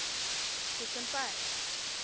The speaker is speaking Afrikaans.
pick and pay